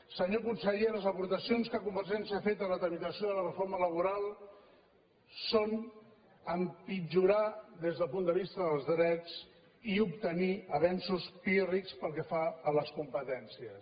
senyor conseller les aportacions que convergència ha fet a la tramitació de la reforma laboral són empitjorar des del punt de vista dels drets i obtenir avenços pír·rics pel que fa a les competències